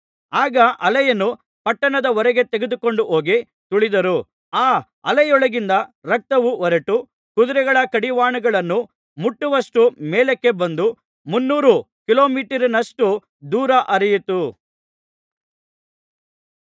ಆಗ ಆಲೆಯನ್ನು ಪಟ್ಟಣದ ಹೊರಗೆ ತೆಗೆದುಕೊಂಡು ಹೋಗಿ ತುಳಿದರು ಆ ಆಲೆಯೊಳಗಿಂದ ರಕ್ತವು ಹೊರಟು ಕುದುರೆಗಳ ಕಡಿವಾಣಗಳನ್ನು ಮುಟ್ಟುವಷ್ಟು ಮೇಲಕ್ಕೆ ಬಂದು ಮುನ್ನೂರು ಕಿಲೋಮೀಟರಿನಷ್ಟು ದೂರ ಹರಿಯಿತು